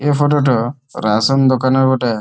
এ photo টা ration দোকানের বটে।